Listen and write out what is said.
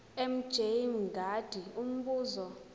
mj mngadi umbuzo